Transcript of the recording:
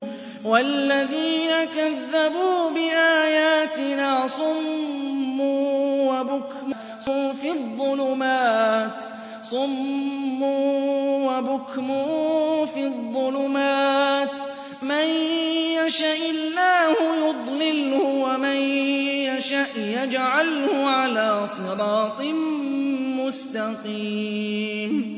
وَالَّذِينَ كَذَّبُوا بِآيَاتِنَا صُمٌّ وَبُكْمٌ فِي الظُّلُمَاتِ ۗ مَن يَشَإِ اللَّهُ يُضْلِلْهُ وَمَن يَشَأْ يَجْعَلْهُ عَلَىٰ صِرَاطٍ مُّسْتَقِيمٍ